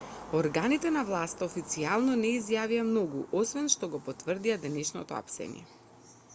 органите на власта официјално не изјавија многу освен што го потврдија денешното апсење